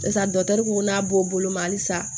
Sisan ko n'a b'o bolo ma halisa